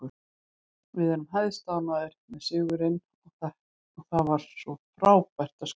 Við erum hæstánægðir með sigurinn og það var frábært að skora.